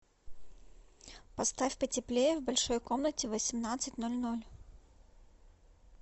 поставь потеплее в большой комнате в восемнадцать ноль ноль